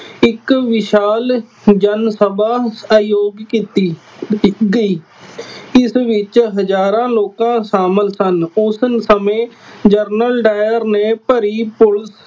ਇੱਕ ਵਿਸ਼ਾਲ ਜਨ ਸਭਾ ਆਯੋਜ ਕੀਤੀ, ਕੀਤੀ ਗਈ। ਇਸ ਵਿੱਚ ਹਜ਼ਾਰਾਂ ਲੋਕਾਂ ਸ਼ਾਮਿਲ ਸਨ। ਉਸ ਸਮੇ ਜਨਰਲ ਡਾਇਰ ਨੇ ਭਰੀ ਪੁਲਿਸ